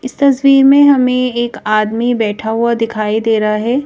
इस तस्वीर में हमें एक आदमी बैठा हुआ दिखाई दे रहा है।